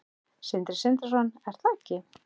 Sindri Sindrason: Er það ekki?